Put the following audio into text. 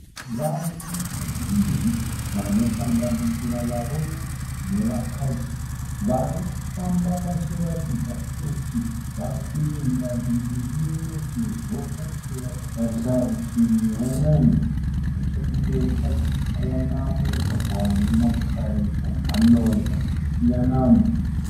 Vanhu vazhinji vanosanganisira varume nevakadzi vari kufamba vachiratidza kuti vari kuenda divi rimwe sezvo vose vakatarisa rutivi rumwe. Nechekumberi kwacho tiri kuona mumugwagwa une motokari dzemhando dzakasiyana.